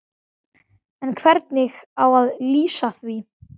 Gamli kappinn bara að verða boss yfir eigin búð.